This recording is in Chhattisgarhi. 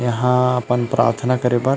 यहाँ अपन प्राथना करे बर--